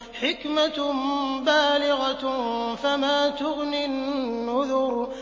حِكْمَةٌ بَالِغَةٌ ۖ فَمَا تُغْنِ النُّذُرُ